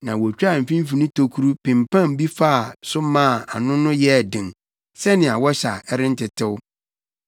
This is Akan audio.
na wotwaa mfimfini tokuru pempam bi faa so maa ano no yɛɛ den sɛnea wɔhyɛ a ɛrentetew.